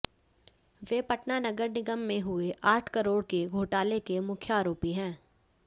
वे पटना नगर निगम में हुए आठ करोड़ के घोटाले के मुख्य आरोपी हैं